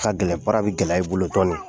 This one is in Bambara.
Ka gɛlɛn baara bi gɛlɛya i bolo dɔɔnin